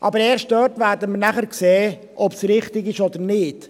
Aber erst dort werden wir nachher sehen, ob es richtig ist oder nicht.